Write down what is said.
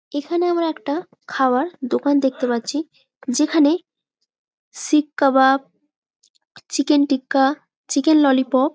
এইখানে আমরা একটা খাওয়ার দোকান দেখতে পাচ্ছি যেখানে seekh kebab chicken tikka chicken lollipop --